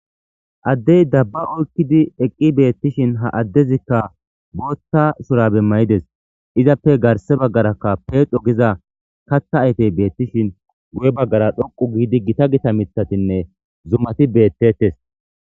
Addey dabba oykkidi eqqi beettishin ha addezikka boothta shurabemmayides izappe garse baggarakka peedo giza katha aytey beettishin guye baggara dhoqu giidi gita gita mithatinne zumati beettettes.